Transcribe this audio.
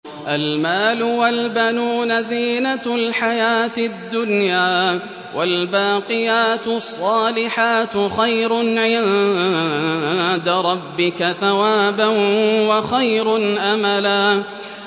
الْمَالُ وَالْبَنُونَ زِينَةُ الْحَيَاةِ الدُّنْيَا ۖ وَالْبَاقِيَاتُ الصَّالِحَاتُ خَيْرٌ عِندَ رَبِّكَ ثَوَابًا وَخَيْرٌ أَمَلًا